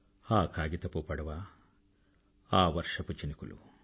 ఆ కాగితపు పడవ ఆ వర్షపు చినుకులు